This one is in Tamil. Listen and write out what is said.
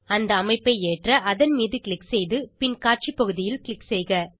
அந்த அமைப்பை ஏற்ற அதன் மீது க்ளிக் செய்து பின் காட்சிப் பகுதியில் க்ளிக் செய்க